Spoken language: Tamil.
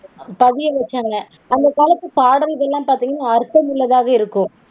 கவியரசண்ணே. அந்த காலத்து பாடல்கள்லாம் பாத்தீங்கனா அர்த்தமுள்ளதாக இருக்கும்